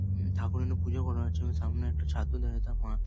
উম ঠাকুর এনে পুজো করা হচ্ছে এবং সামনে একটা ছাত্র দাঁড়িয়ে আছে ও তার মা ।